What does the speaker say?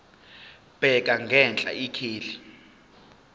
bheka ngenhla ikheli